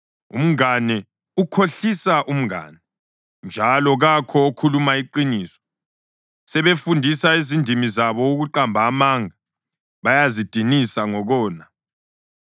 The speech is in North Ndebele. Umngane ukhohlisa umngane, njalo kakho okhuluma iqiniso. Sebafundisa izindimi zabo ukuqamba amanga, bayazidinisa ngokona.